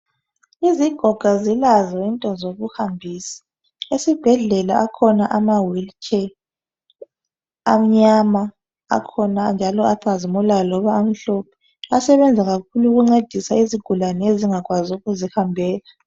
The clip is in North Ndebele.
Izigoga zilazo into zokuhambisa. Esibhedlela akhona ama wili tshe amnyama, akhona njalo acazimulayo loba amhlophe. Asebenza kakhulu ukuncedisa izigulane ezingakwazi ukuzihambela.